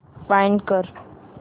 find कर